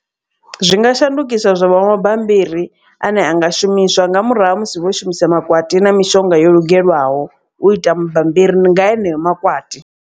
Zwi nga shandukiswa zwa vha mabambiri ane anga shumiswa. Nga murahu ha musi vho shumisa makwati na mishonga yo lugelwaho u ita mabammbiri nga heneyo makwati.